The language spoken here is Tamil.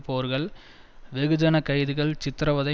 போர்கள் வெகுஜன கைதுகள் சித்திரவதை